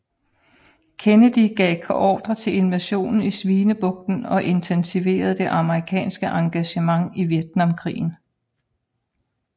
Kennedy gav ordre til invasionen i Svinebugten og intensiverede det amerikanske engagement i Vietnamkrigen